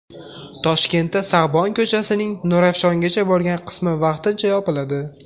Toshkentda Sag‘bon ko‘chasining Nurafshongacha bo‘lgan qismi vaqtincha yopiladi.